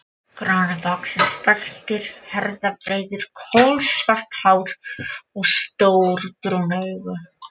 Grannvaxinn, stæltur, herðabreiður, kolsvart hár, stór brún augu.